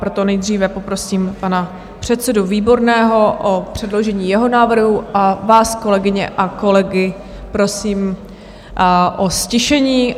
Proto nejdříve poprosím pana předsedu Výborného o předložení jeho návrhu a vás, kolegyně a kolegy, prosím o ztišení.